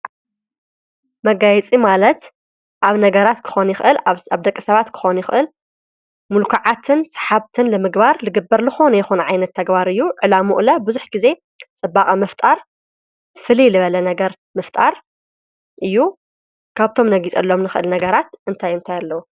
መጋይፂ ማለት ኣብ ነገራት ክኾኒ ኽእል ኣብ ደቂ ሰባት ክኾኑ ይኽእል ምሉኰዓትን ሰሓብትን ለምግባር ልግበር ልኾኑ የኾነ ኣይነት ተግባርእዩ ዕላምኡለ ብዙኅ ጊዜ ጸባቓ ምፍጣር ፍሊ ልበለ ነገር ምፍጣር እዩ ካብቶም ነጊጸሎም ንኽእል ነገራት እንታይንታይኣለዉ።